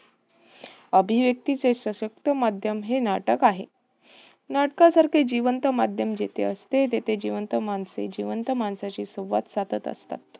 अभिव्यक्तीचे सशक्त माध्यम हे नाटक आहे. नाटकासारखे जिवंत माध्यम जेथे असते. तेथे जिवंत माणसे जिवंत माणसांशी संवाद साधत असतात.